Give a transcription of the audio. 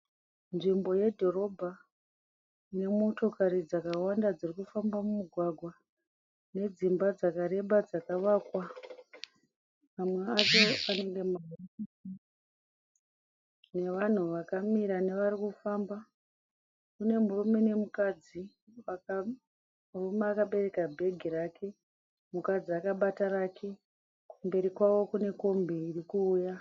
Nzvimbo yedhorobha nemotokari dzakawanda dzirikufamba mugwagwa nedzimba dzakareba nemotokari dzakawanda dzirikufamba mugwagwa. Nevanhu vakawanda varikufamba nenhumurume akabereka bhegi rake mukadzi akabata rake. Kumberi kwacho kune kombi irikuuya.